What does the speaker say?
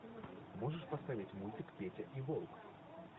можешь поставить мультик петя и волк